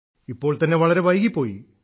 ഇപ്പോൾ തന്നെ വളരെ വൈകിപ്പോയി